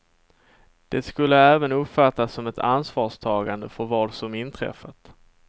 Det skulle även uppfattas som ett ansvarstagande för vad som inträffat.